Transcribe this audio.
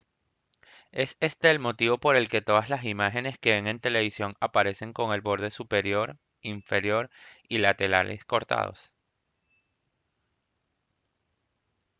es este el motivo por el que todas las imágenes que ve en la televisión aparecen con los bordes superior inferior y laterales cortados